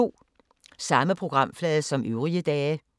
Samme programflade som øvrige dage